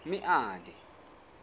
meade